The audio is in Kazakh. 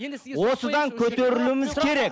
осыдан көтерілуіміз керек